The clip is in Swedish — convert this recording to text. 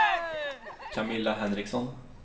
Camilla Henriksson